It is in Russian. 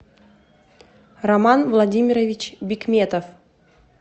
роман владимирович бикметов